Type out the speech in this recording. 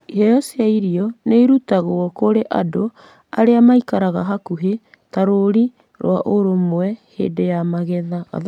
Iheo cia irio nĩ irutagwo kũrĩ andũ arĩa maikaraga hakuhĩ ta rũri rwa ũrũmwe hĩndĩ ya magetha.